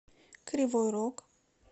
кривой рог